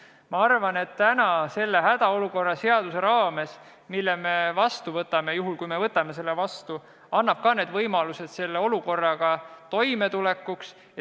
Ja ma arvan, et täna see hädaolukorra seadus, mille me vastu võtame – juhul, kui me ikka võtame selle vastu –, annab samuti võimalused selle olukorraga toime tulla.